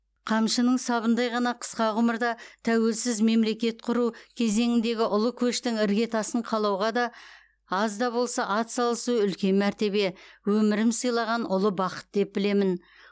қамшының сабындай ғана қысқа ғұмырда тәуелсіз мемлекет құру кезеңіндегі ұлы көштің іргетасын қалауға аз да болса ат салысу үлкен мәртебе өмірім сыйлаған ұлы бақыт деп білемін